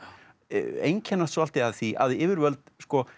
einkennast svolítið af því að yfirvöld